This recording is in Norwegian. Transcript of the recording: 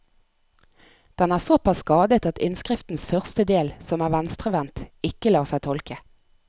Den er såpass skadet at innskriftens første del, som er venstrevendt, ikke lar seg tolke.